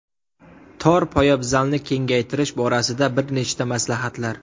Tor poyabzalni kengaytirish borasida bir nechta maslahatlar.